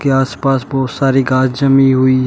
आस पास बहोत सारी घास जमी हुई है।